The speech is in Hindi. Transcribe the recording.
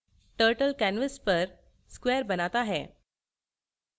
turtle canvas पर square बनाता है